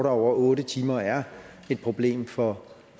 over otte timer er et problem for